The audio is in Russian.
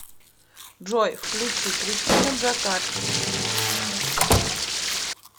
джой включи кристина джакард